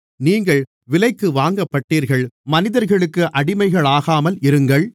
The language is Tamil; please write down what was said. நீங்கள் விலைக்கு வாங்கப்பட்டீர்கள் மனிதர்களுக்கு அடிமைகளாகாமல் இருங்கள்